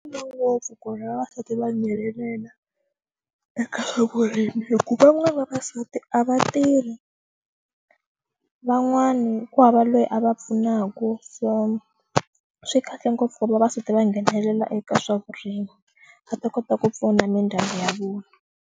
Ngopfu ku ri vavasati va nghenelela eka swa vurimi hikuva van'wana vavasati a va tirhi van'wana ku hava loyi a va pfunaku so swi kahle ngopfu vavasati va nghenelela eka swa vurimi va ta kota ku pfuna mindyangu ya vona.